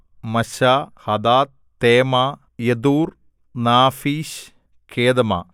മശ്ശാ ഹദാദ് തേമാ യെതൂർ നാഫീശ് കേദമ